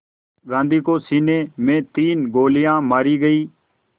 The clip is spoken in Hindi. गांधी को सीने में तीन गोलियां मारी गईं